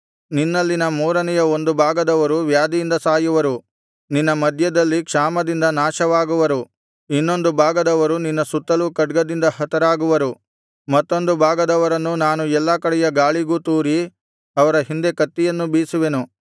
ನಿನ್ನಲ್ಲಿನ ಮೂರನೆಯ ಒಂದು ಭಾಗದವರು ವ್ಯಾಧಿಯಿಂದ ಸಾಯುವರು ನಿನ್ನ ಮಧ್ಯದಲ್ಲಿ ಕ್ಷಾಮದಿಂದ ನಾಶವಾಗುವರು ಇನ್ನೊಂದು ಭಾಗದವರು ನಿನ್ನ ಸುತ್ತಲೂ ಖಡ್ಗದಿಂದ ಹತರಾಗುವರು ಮತ್ತೊಂದು ಭಾಗದವರನ್ನು ನಾನು ಎಲ್ಲಾ ಕಡೆಯ ಗಾಳಿಗೂ ತೂರಿ ಅವರ ಹಿಂದೆ ಕತ್ತಿಯನ್ನು ಬೀಸುವೆನು